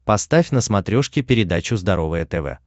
поставь на смотрешке передачу здоровое тв